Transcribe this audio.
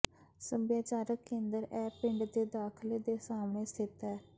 ਸੱਭਿਆਚਾਰਕ ਕੇਂਦਰ ਇਹ ਪਿੰਡ ਦੇ ਦਾਖਲੇ ਦੇ ਸਾਹਮਣੇ ਸਥਿਤ ਹੈ